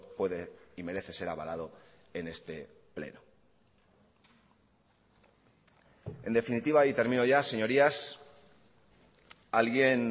puede y merece ser avalado en este pleno en definitiva y termino ya señorías alguien